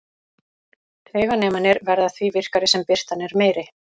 Tauganemarnir verða því virkari sem birtan er meiri.